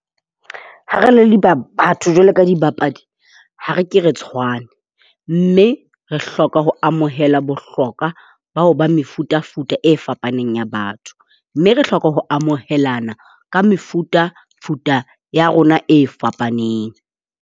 Ha re le batho jwalo ka dibapadi, ha re ke re tshwane. Mme re hloka ho amohela bohlokwa ba ho ba mefutafuta e fapaneng ya batho. Mme re hloka ho amohelana ka mefutafuta ya rona e fapaneng.